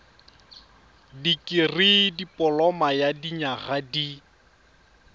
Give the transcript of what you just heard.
dikirii dipoloma ya dinyaga di